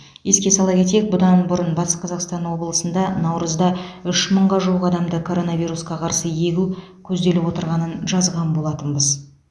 еске сала кетейік бұдан бұрын батыс қазақстан облысында наурызда үш мыңға жуық адамды коронавирусқа қарсы егу көзделіп отырғанын жазған болатынбыз